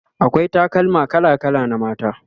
akwai takalma kala kala na mata